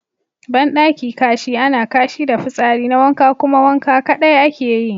Bandaki Kashi ana Kashi da fitsari na wanka kuma wanka kadai ake yi.